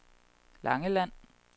Langeland